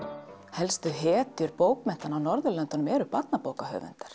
helstu hetjur bókmennta Norðurlandanna eru barnabókahöfundar